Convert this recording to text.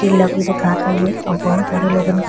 किला भी दिखात हवे और बहुत सारे लोगन के --